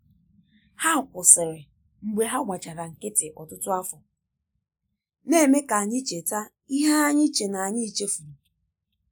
Ha kwụsịrị mgbe ha gbachara nkịtị ọtụtụ afọ, na-eme ka anyị cheta ihe anyị che na anyi chefuru.